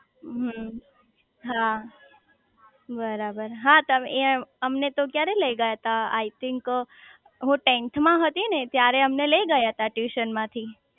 હમ્મ હા બરાબર હા અમને તો ક્યારે લઇ ગયા તા આયથિન્ક હું ટેન્થ માં હતી ને ત્યારે અમને લઇ ગયા તા ટ્યૂશન માંથી